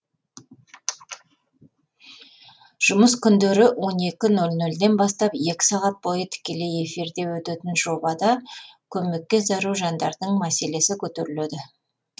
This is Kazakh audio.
жұмыс күндері он екі ноль нольден бастап екі сағат бойы тікелей эфирде өтетін жобада көмекке зәру жандардың мәселесі көтеріледі